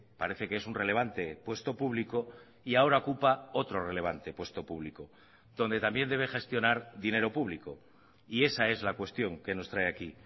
parece que es un relevante puesto público y ahora ocupa otro relevante puesto público donde también debe gestionar dinero público y esa es la cuestión que nos trae aquí